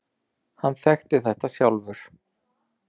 Hann þekkti þetta sjálfur.